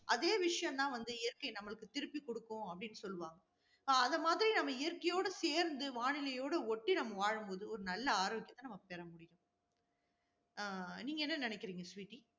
அதே விஷயம்தான் வந்து இயற்கை நம்மளுக்கு திருப்பி கொடுக்கும் அப்படின்னு சொல்லுவாங்க. அதை மாதிரி நம்ம இயற்கையோடு சேர்ந்து வானிலையோடு ஒட்டி நம்ம வாழும் போது ஒரு நல்ல ஆரோக்கியத்தை நம்ம பெறமுடியும். அஹ் நீங்க என்ன நினைக்கிறீங்க ஸ்வீட்டி?